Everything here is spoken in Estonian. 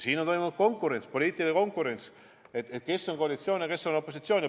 Siin on olnud konkurents, poliitiline konkurents, kes on koalitsioonis ja kes on opositsioonis.